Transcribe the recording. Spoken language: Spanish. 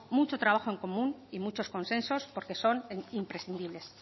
mucho trabajo en común y muchos consensos porque son imprescindibles